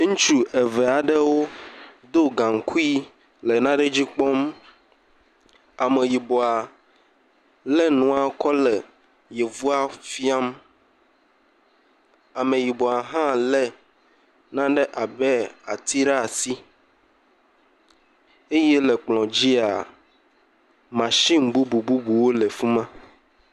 Ŋutsu eve aɖewo do gaŋkui le nane dzi kpɔm. Ameyibɔa lé nanewo kɔ le Yevoa fiam. Ameyibɔa hã lé nane abe ati ɖaa si. Eye le kplɔ̃dzia, mashini bubububuwo le afi ma.